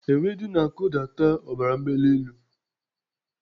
Ewedu na-akụdata ọbara mgbali elu.